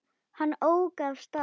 Hann ók af stað.